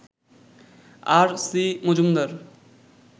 আর, C, Majumdar